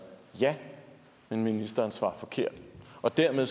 ja men ministeren svarer forkert og dermed